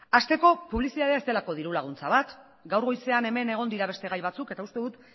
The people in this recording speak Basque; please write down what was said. hasteko publizitatea ez delako dirulaguntza bat gaur goizean hemen egon dira beste gai batzuk eta uste dut